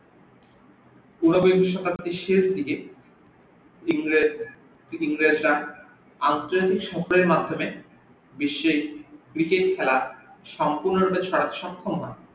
ঊনবিংশ শতাব্দীর শেষ দিকে ইংরেজরা আঞ্চলিক সক্রিয়তার মাধ্যমে বিশ্বে cricket খেলা সপূর্ণ ভাবে ছড়াতে সক্রিয় হন